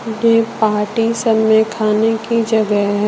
ये पार्टी सब में खाने की जगह है।